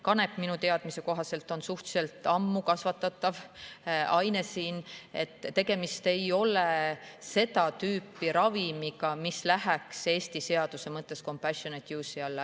Kanep minu teadmise kohaselt on siin suhteliselt ammu kasvatatav aine, tegemist ei ole seda tüüpi ravimiga, mis läheks Eesti seaduse mõttes compassionate use'i alla.